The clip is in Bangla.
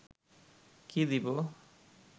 কি দিব